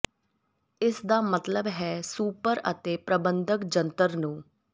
ਇਸ ਦਾ ਮਤਲਬ ਹੈ ਸੁਪਰ ਅਤੇ ਪ੍ਰਬੰਧਕ ਜੰਤਰ ਨੂੰ